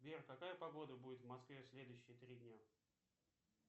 сбер какая погода будет в москве в следующие три дня